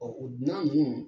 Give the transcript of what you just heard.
o dunan minnu